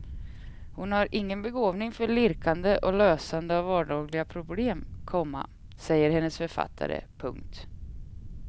Hon har ingen begåvning för lirkande och lösande av vardagliga problem, komma säger hennes författare. punkt